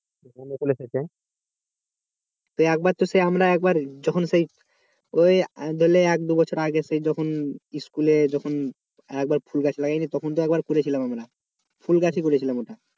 মুকুল এসেছে তো একবার তো সেই আমার একবার যখন সেই ওই এক দু বছর আগে সেই যখন স্কুলে যখন একবার ফুল গাছ লাগিয়েছি তখন তো একবার করেছিলাম আমরা ফুল গাছই করেছিলাম ওটা